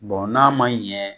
Bɔn n'a ma ɲɛn